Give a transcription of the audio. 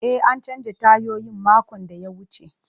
E, an canza tayoyin makon da ya wuce.